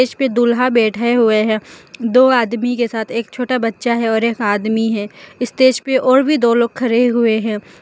पे दूल्हा बैठे हुए है दो आदमी के साथ एक छोटा बच्चा है और एक आदमी है स्टेज पे और भी दो लोग खरे हुए हैं।